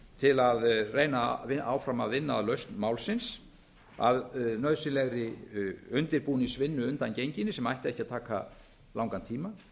til að reyna áfram að vinna að lausn málsins að nauðsynlegri undirbúningsvinnu undangenginni sem ætti ekki að taka langan tíma